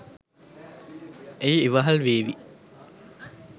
එය ඉවහල් වේවි.